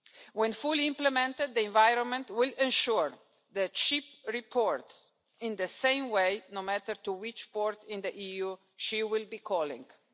When fully implemented, the environment will ensure that a ship reports in the same way, no matter to which port in the EU she will be calling at.